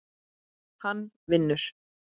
Hann vinnur.